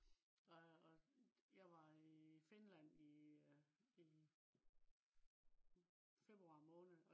og jeg var i finland i øh i februar måned